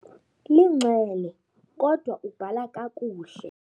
Linxele kodwa ubhala kakuhle.